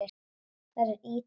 Verður Ítalía með?